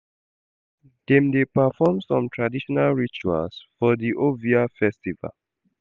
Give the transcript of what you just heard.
Dem dey perform some traditional rituals for di Ovia festival.